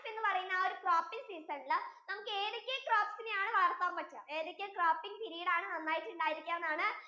Kharif എന്ന് പറയുന്ന ആ ഒരു cropping season യില് നമുക്കു ഏതൊക്കെ crops യിനെ ആണ് വളർത്താൻ പറ്റുക ഏതൊക്കെ cropping period ആണ് നന്നായിട്ടു ഉണ്ടായിരിക്കെ എന്നാണ്